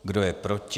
Kdo je proti?